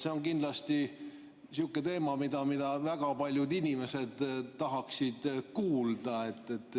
See on kindlasti sihuke teema, millest väga paljud inimesed tahaksid kuulda.